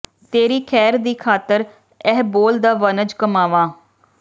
ਤੇਰੀ ਖੈਰ ਦੀ ਖਾਤਰ ਇਹ ਬੋਲ ਦਾ ਵਣਜ ਕਮਾਵਾਂ